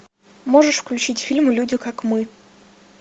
можешь включить фильм люди как мы